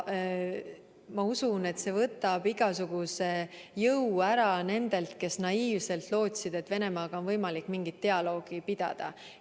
Ma usun, et see võtab igasuguse jõu ära nendelt, kes naiivselt lootsid, et Venemaaga on võimalik mingit dialoogi pidada.